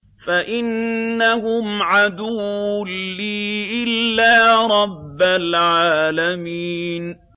فَإِنَّهُمْ عَدُوٌّ لِّي إِلَّا رَبَّ الْعَالَمِينَ